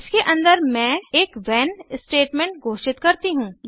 इसके अंदर मैं एक व्हेन स्टेटमेंट घोषित करती हूँ